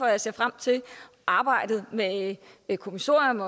jeg ser frem til arbejdet med et kommissorium